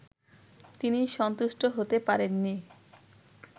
তিনি সন্তুষ্ট হতে পারেন নি